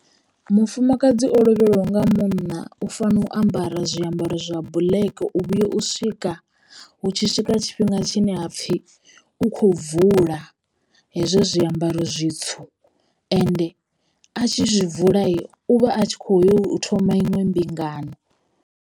Mufumakadzi o lovhelwaho nga munna u fanela u ambara zwiambaro zwa black u vhuya u swika hu tshi swika tshifhinga tshine hapfi u kho bvula hezwo zwiambaro zwitswu ende a tshi zwi bvula u vha a tshi kho yo thoma iṅwe mbingano.